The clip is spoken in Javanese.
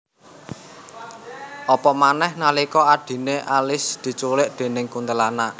Apa manèh nalika adhiné Alice diculik déning kuntilanak